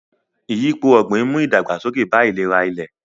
Ìyípo ọ̀gbìn ń mú ìdàgbàsókè bá ìlera ilẹ̀.